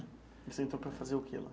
E você entrou para fazer o quê lá?